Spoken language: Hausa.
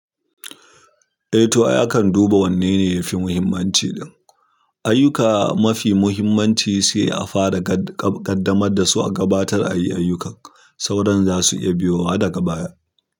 Eh to ai akan duba wanne ne yafi muhimmanci. Ayuka mafi muhimmanci sai a fara ƙaddamar da su a gabatar ayi ayyukan, sauran za su iya biyo wa daga baya.